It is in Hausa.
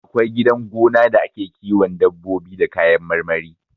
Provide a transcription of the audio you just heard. Akwai gidan gona da ake kiwon dabbobi da kayan marmari